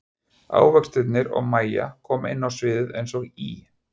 Ávextirnir og Mæja koma inn á sviðið eins og í